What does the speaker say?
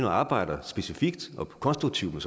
og arbejde specifikt og konstruktivt med